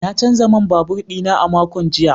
Na canza man babur dina a makon jiya.